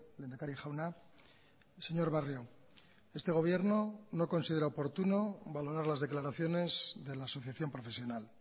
lehendakari jauna señor barrio este gobierno no considera oportuno valorar las declaraciones de la asociación profesional